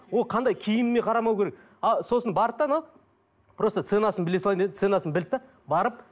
ол қандай киіміне қарамау керек а сосын барды да анау просто ценасын біле салайын деді ценасын білді де барып